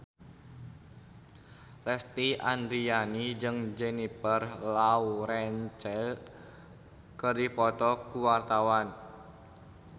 Lesti Andryani jeung Jennifer Lawrence keur dipoto ku wartawan